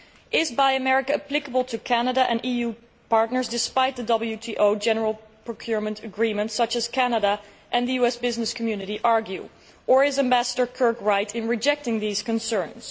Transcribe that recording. Is Buy America' applicable to Canada and to EU partners, despite the WTO general procurement agreement, as Canada and the US business community argue, or is Ambassador Kirk right in rejecting these concerns?